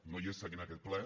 no hi és seguint aquest ple